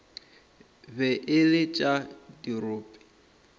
be e le tša dirope